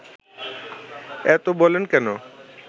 এত বলেন কেন